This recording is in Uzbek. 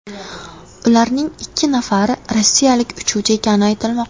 Ularning ikki nafari rossiyalik uchuvchi ekani aytilmoqda.